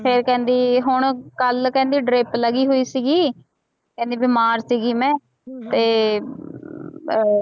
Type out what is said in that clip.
ਫਿਰ ਕਹਿੰਦੀ ਹੁਣ ਕੱਲ੍ਹ ਕਹਿੰਦੀ ਲੱਗੀ ਹੋਈ ਸੀਗੀ ਕਹਿੰਦੀ ਬਿਮਾਰ ਸੀਗੀ ਮੈਂ ਤੇ ਅਹ